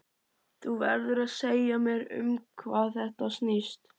Þú verður að segja mér um hvað þetta snýst.